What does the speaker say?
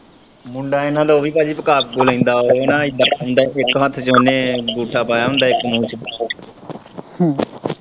ਮੁੰਡਾ ਇਹਨਾਂ ਦਾ ਉਹ ਵੀ ਭਾਜੀ ਉਹ ਵੀ ਭਾਜੀ ਪਕਾ-ਪਕੂ ਲੈਂਦਾ ਵਾਂ ਉਹ ਨਾ ਇੱਦਾ ਪਾਉਂਦਾ ਇੱਕ ਹੱਥ ਚ ਉਹਨੇ ਅੰਗੂਠਾ ਪਾਇਆ ਹੁੰਦਾ ਇੱਕ ਮੂੰਹ ਚ। ਹਮ